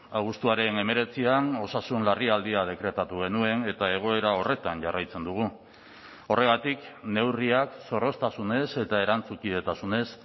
abuztuaren hemeretzian osasun larrialdia dekretatu genuen eta egoera horretan jarraitzen dugu horregatik neurriak zorroztasunez eta erantzukidetasunez